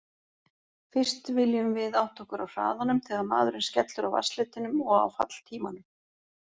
Fyrst viljum við átta okkur á hraðanum þegar maðurinn skellur á vatnsfletinum og á falltímanum.